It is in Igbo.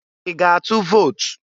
I ga-atụ vot?